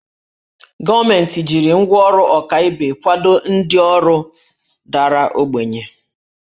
Gọọmenti jiri ngwá ọrụ ọkaibe kwado ndị ọrụ dara ogbenye